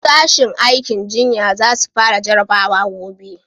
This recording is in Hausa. Sashin aikin jinya za su fara jarabawa gobe